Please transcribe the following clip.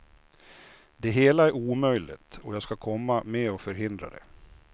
Det hela är omöjligt, och jag ska komma med och förhindra det.